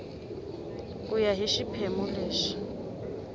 ku ya hi xiphemu lexi